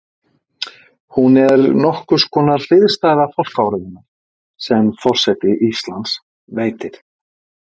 Hún er nokkurs konar hliðstæða fálkaorðunnar sem forseti Íslands veitir.